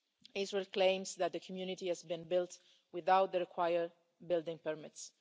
Israel claims that the community has been built without the required building permits.